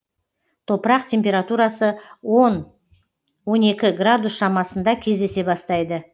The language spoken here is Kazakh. топырақ температурасы он он екі градус шамасында кездесе бастайды